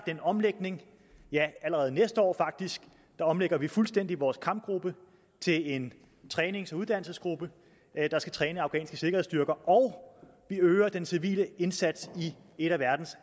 en omlægning ja allerede næste år faktisk der omlægger vi fuldstændig vores kampgruppe til en trænings og uddannelsesgruppe der skal træne afghanske sikkerhedsstyrker og vi øger den civile indsats i et af verdens